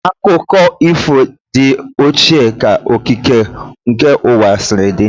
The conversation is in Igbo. Akụkọ ifo dị ochie ka okike nke ụwa sịrị di